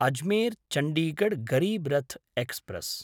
अजमेर्–चण्डीगढ् Garib Rath express